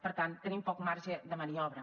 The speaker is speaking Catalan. per tant tenim poc marge de maniobra